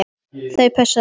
Þau pössuðu á mig.